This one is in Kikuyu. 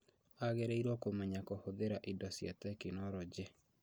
Agĩrĩirwo kũmenya kũhũthira indo cia tekinoronjĩ